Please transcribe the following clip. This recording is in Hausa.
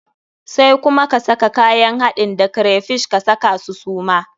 Sai kuma ka saka kayan haɗin da crayfish, ka saka su suma.